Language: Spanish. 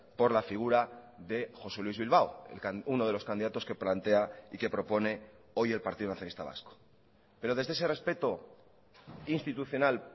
por la figura de josé luis bilbao uno de los candidatos que plantea y que propone hoy el partido nacionalista vasco pero desde ese respeto institucional